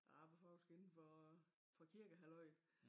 Jeg arbejdede faktisk inden for for kirkehalløjet